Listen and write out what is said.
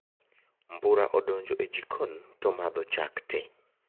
Mbura odonjo e jikon tomadho chak tee